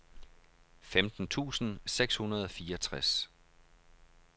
femten tusind seks hundrede og fireogtres